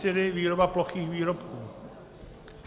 N204 - výroba plochých výrobků.